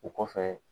O kɔfɛ